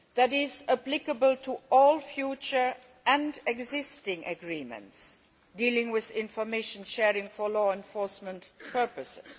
is applicable to all future and existing agreements dealing with information sharing for law enforcement purposes